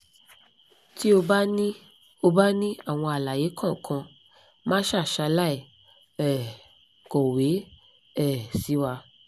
ti o ba ni o ba ni àwọn aláyé kankan masa salai um kowe um siwa